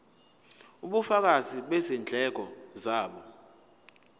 ubufakazi bezindleko zabo